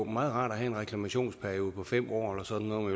meget rart at have en reklamationsperiode på fem år eller sådan noget